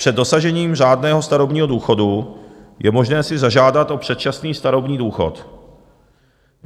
Před dosažením řádného starobního důchodu je možné si zažádat o předčasný starobní důchod.